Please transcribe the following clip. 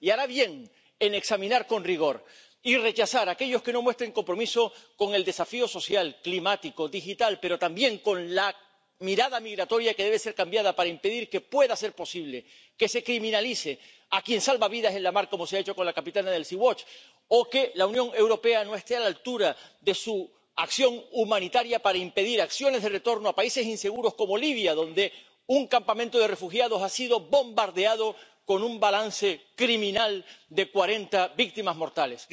Y hará bien en examinar con rigor y rechazar a aquellos que no se comprometan con el desafío social, climático, digital, pero también con la mirada migratoria, que debe ser cambiada para impedir que pueda ser posible que se criminalice a quien salva vidas en la mar —como se ha hecho con la capitana del Sea Watch —o con que la Unión Europea no esté a la altura de su acción humanitaria para impedir acciones de retorno a países inseguros como Libia —donde un campamento de refugiados ha sido bombardeado con un balance criminal de cuarenta víctimas mortales—.